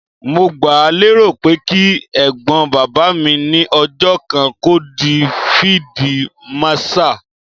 Mo gbáà lérò pé kí Ẹ̀gbọ́n bàbá mi ní ọjọ́ kan kó di fíídí màṣaà.